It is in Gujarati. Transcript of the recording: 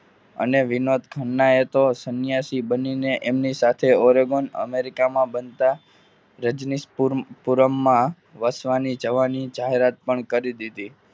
ખન્નાએ તો સંન્યાસી બનીને એમને સાથે ઓરેગોન America માં બનતા રજનીશપુરમાં વસવાની જવાની જાહેરાત પણ કરી દીધી.